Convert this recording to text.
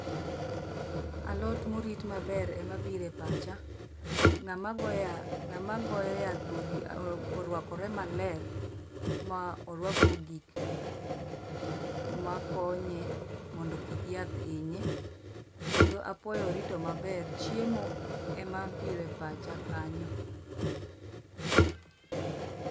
Alot morit maber emabiro e pacha. Ng'ama goya ng'ama goyo yath be orwakore maler ma orwako gik ma konye mondo kik yath inye. Kendo apoyo orito maber, chiemo emabiro e pacha kanyo